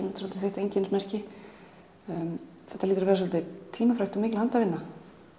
svolítið þitt einkennismerki þetta hlýtur að vera svolítið tímafrekt og mikil handavinna